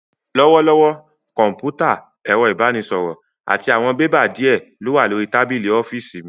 Lọ́wọ́lọ́wọ́, Kọ̀m̀pútà, ẹ̀rọ ìbánisọ̀rọ̀, àti àwọn bébà díè ló wà lórí tábìlì ọ́fíìsì mi